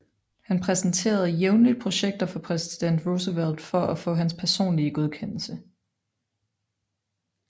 Han præsenterede jævnligt projekter for præsident Roosevelt for at få hans personlige godkendelse